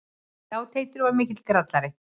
Já, Teitur var mikill grallari.